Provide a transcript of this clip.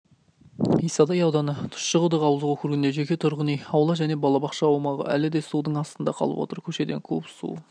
исатай ауданы тұщықұдық ауылдық округінде жеке тұрғын үй аула және балабақша аумағы әлі де судын астында қалып отыр көшеден куб су